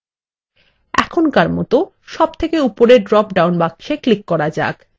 এখনকার মতো সবথকে উপরের ড্রপ ডাউন বাক্সে ক্লিক করা যাক